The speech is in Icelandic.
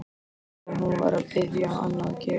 Eins og hún var að biðja hann að gera.